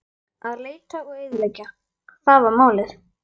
Að leita og eyðileggja: það var málið.